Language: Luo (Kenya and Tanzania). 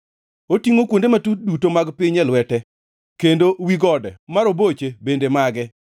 Otingʼo kuonde matut duto mag piny e lwete, kendo wi gode ma roboche bende mage.